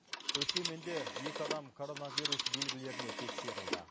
өскеменде екі адам коронавирус белгілеріне тексерілді